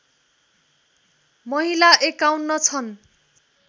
महिला ५१ छन्